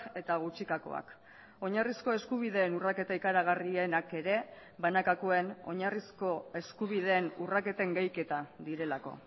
eta gutxikakoak oinarrizko eskubideen urraketa ikaragarrienak ere banakakoen oinarrizko eskubideen urraketen gehiketa direlako